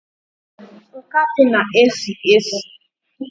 Nkapi na esi esi